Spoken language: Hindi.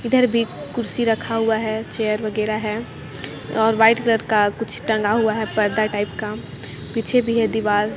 इधर भी कुर्सी रखा हुआ है चेयर वगैरा है और व्हाइट रंग का कुछ टांगा हुआ है पर्दा टाईप का पीछे भी है दिवाल--